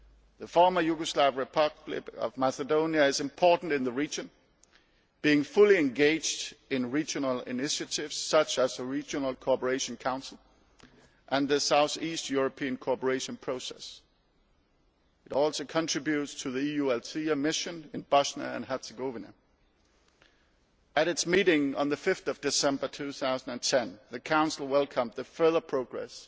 The former Yugoslav Republic of Macedonia is important in the region, being fully engaged in regional initiatives such as the Regional Cooperation Council and the South East European Cooperation Process. It also contributes to the EU Althea mission in Bosnia and Herzegovina. At its meeting on 5 December 2010, the Council welcomed the further progress